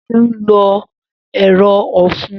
Seun lo ero ofun